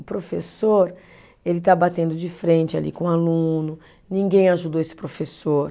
O professor, ele está batendo de frente ali com o aluno, ninguém ajudou esse professor.